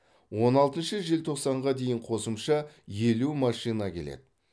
он алтыншы желтоқсанға дейін қосымша елу машина келеді